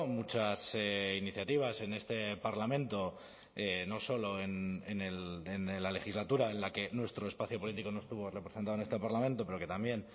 muchas iniciativas en este parlamento no solo en la legislatura en la que nuestro espacio político no estuvo representado en este parlamento pero que también